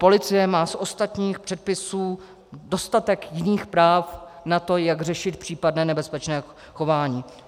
Policie má z ostatních předpisů dostatek jiných práv na to, jak řešit případné nebezpečné chování.